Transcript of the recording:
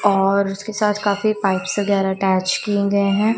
और उसके साथ काफी पाइप्स वगैरह अटैच किए गए हैं।